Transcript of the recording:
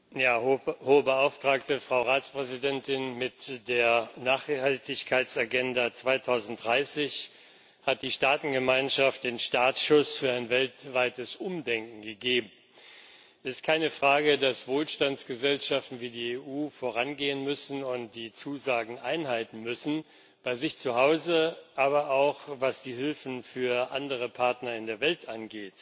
Frau Präsidentin, Hohe Beauftragte, Frau Ratspräsidentin! Mit der Nachhaltigkeitsagenda 2030 hat die Staatengemeinschaft den Startschuss für ein weltweites Umdenken gegeben. Es ist keine Frage, dass Wohlstandsgesellschaften wie die EU vorangehen und die Zusagen einhalten müssen, sowohl bei sich zu Hause als auch, was die Hilfen für andere Partner in der Welt angeht.